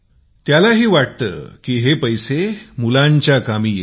त्याला ही वाटते की पैसे मुलांच्या कामी येतील